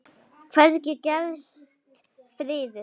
Hvergi gefst friður.